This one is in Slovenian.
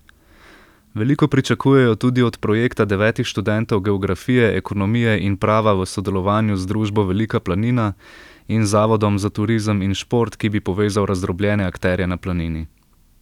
Veliko pričakujejo tudi od projekta devetih študentov geografije, ekonomije in prava v sodelovanju z družbo Velika planina in Zavodom za turizem in šport, ki bi povezal razdrobljene akterje na planini.